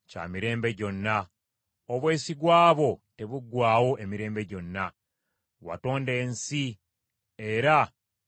Obwesigwa bwo tebuggwaawo emirembe gyonna; watonda ensi era enyweredde ddala.